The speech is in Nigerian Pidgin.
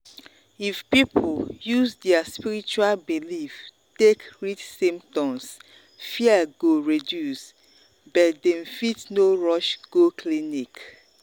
if people use their spiritual belief take read symptoms fear go reduce reduce but dem fit no rush go clinic.